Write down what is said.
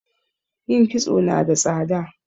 yin kisto nada tsada